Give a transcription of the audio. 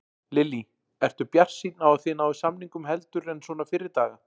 Lillý: Ertu bjartsýnn á að þið náið samningum heldur en svona fyrri daga?